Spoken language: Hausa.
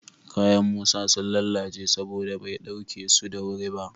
Kayan Musa sun lalace saboda bai ɗauke su da wuri ba